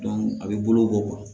a bɛ bolo bɔ